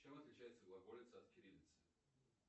чем отличается глаголица от кириллицы